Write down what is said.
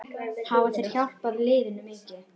Hafa þeir hjálpað liðinu mikið?